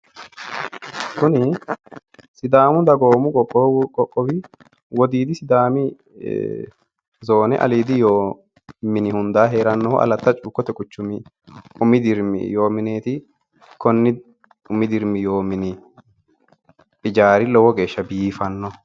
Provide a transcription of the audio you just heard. Kuni sidaamu dagoomu qoqqowi, wodiidi sidaami zoone aliidi yoo mini hundaa heeranno Alata cuukkote quchumi umi dirimi yoo mineeti. Konni umi dirimi yoo mini lowo geeshsha biifanno.